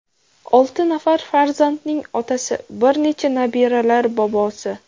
Olti nafar farzandning otasi, bir necha nabiralar bobosi.